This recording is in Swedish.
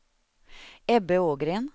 Ebbe Ågren